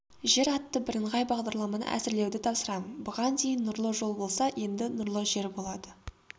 жер атты бірыңғай бағдарламаны әзірлеуді тапсырамын бұған дейін нұрлы жол болса енді нұрлы жер болады